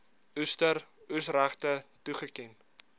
oester oesregte toegeken